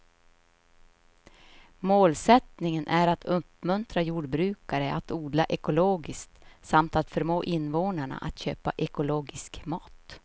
Målsättningen är att uppmuntra jordbrukare att odla ekologiskt samt att förmå invånarna att köpa ekologisk mat.